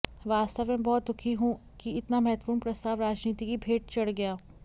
वास्तव में बहुत दुखी हूं कि इतना महत्वपूर्ण प्रस्ताव राजनीति की भेंट चढ़ गया